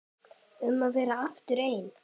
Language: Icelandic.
Um að verða aftur einn.